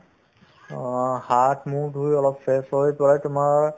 অ, হাত-মুখ ধুই অলপ fresh হৈ প্ৰায় তোমাৰ